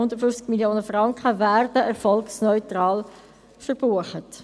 Die 150 Mio. Franken werden erfolgsneutral verbucht.